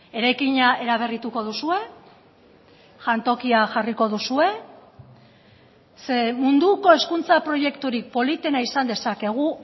eraikina eraberrituko duzue jantokia jarriko duzue ze munduko hezkuntza proiekturik politena izan dezakegu